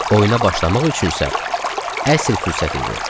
Oyuna başlamaq üçün isə əsl fürsət idi.